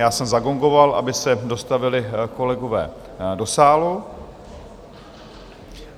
Já jsem zagongoval, aby se dostavili kolegové do sálu.